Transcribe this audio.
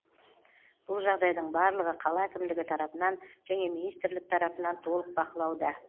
бұл жағдайдың барлығы қала әкімдігі тарапынан және министрлік тарапынан толық бақылауда